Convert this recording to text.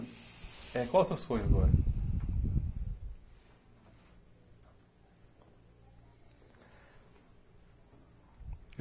Eh qual é o seu sonho agora?